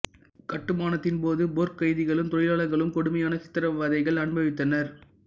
கட்டுமானத்தின் போது போர்க் கைதிகளும் தொழிலாளர்களும் கொடுமையான சித்ரவதைகள் அனுபவித்தனர்